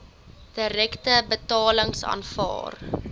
direkte betalings aanvaar